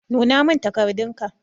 Nuna min takardun ka.